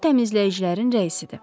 O, təmizləyicilərin rəisidir.